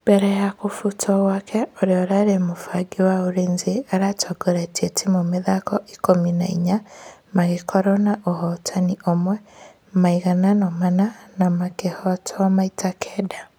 Mbere ya kũfutwo gwake ũrĩa ũrarĩ mũbangi wa ulinzi aratũngorĩtie timũ mĩthako ikũmi na inya magĩkorwo na ũhotani ũmwe , maiganano mana na makĩhotwo maita kenda.